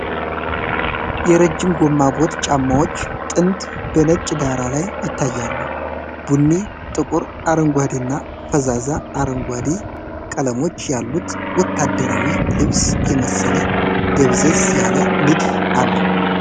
የረጅም ጎማ ቦት ጫማዎች ጥንድ በነጭ ዳራ ላይ ይታያሉ። ቡኒ፣ ጥቁር፣ አረንጓዴ እና ፈዛዛ አረንጓዴ ቀለሞች ያሉት ወታደራዊ ልብስ የመሰለ ደብዘዝ ያለ ንድፍ አለው።